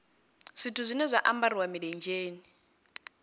zwithu zwine zwa ambariwa milenzheni